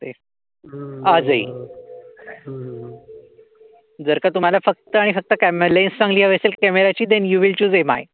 जर का तुम्हाला फक्त आणि फक्त क्यामेरा लेस हवी असेल क्यामेरा ची you will today my.